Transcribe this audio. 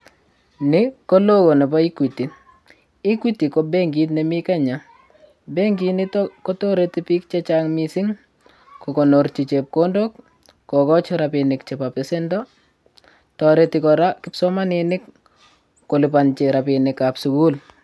Nii ko newo nebo equity equity ko bankit nrmii kenya bankit niton kotoreti biik che chang missing kokonorgi chepkondok kokoji rabinik chepo pesendo toreti koraa kipsomaninik kolipongi rabinik ab sukul.